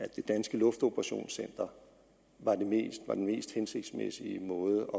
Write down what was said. det danske luftoperationscenter var den mest hensigtsmæssige måde